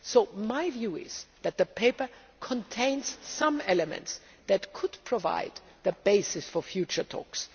In my opinion the paper contains some elements that could provide the basis for future talks.